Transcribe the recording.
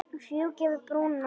Fjúki yfir brúna.